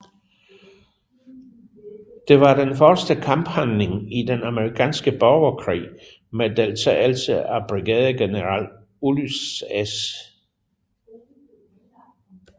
Det var den første kamphandling i den amerikanske borgerkrig med deltagelse af brigadegeneral Ulysses S